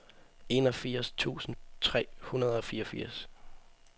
enogfirs tusind tre hundrede og fireogfirs